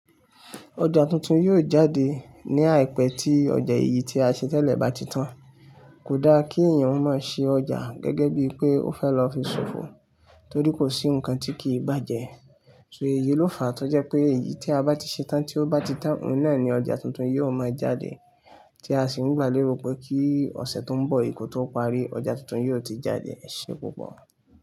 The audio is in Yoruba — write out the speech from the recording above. Ọjà tuntun yóò jáde ní àìpé tí ọjà èyí tí a ṣe tẹ́lẹ̀ bá ti tán. Kò dá kí èèyàn má ṣe ọjà gẹ́gẹ́ bí pé ó fẹ́ lọ fi ṣòfò, torí kò sí nǹkan tí kì í bàjẹ́. So èyí ló fàá tó jẹ́ pé èyí tí a bá ti ṣe tán tí ó bá ti tán, òun náà ni ọjà tuntun yóò máa jáde. Tí a sì ń gbà léwu pé kí ọ̀sẹ̀ tó ń bọ̀ yìí kó tó parí, ọjà tuntun yóò ti jáde. Ẹ ṣé púpọ̀.